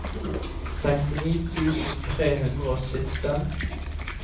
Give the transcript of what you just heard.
sekstini tusen tre hundre og sytten